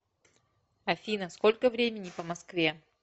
афина сколько времени по москве